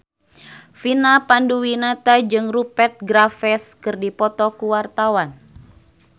Vina Panduwinata jeung Rupert Graves keur dipoto ku wartawan